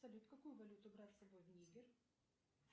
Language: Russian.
салют какую валюту брать с собой в нигер